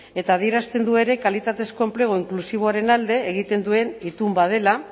eta adierazten du ere kalitatezko enplegua inklusiboaren alde egiten duen itun bat dela